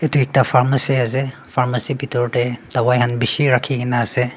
etu ekta pharmacy ase pharmacy bithor teh dawai khan bishi rakhi ke na ase.